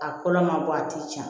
A kolo ma bɔ a ti jan